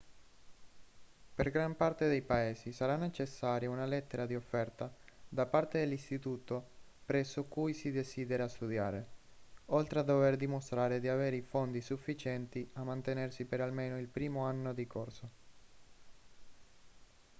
per gran parte dei paesi sarà necessaria una lettera di offerta da parte dell'istituto presso cui si desidera studiare oltre a dover dimostrare di avere i fondi sufficienti a mantenersi per almeno il primo anno di corso